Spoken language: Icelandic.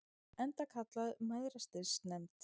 Enda kallaður Mæðrastyrksnefndin.